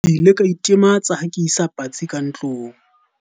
ke ile ka itematsa ha ke isa patsi ka tlong